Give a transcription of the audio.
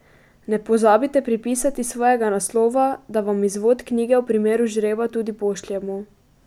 Ne pozabite pripisati svojega naslova, da vam izvod knjige v primeru žreba tudi pošljemo.